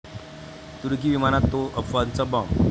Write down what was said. तुर्की विमानात 'तो' अफवाचा बॉम्ब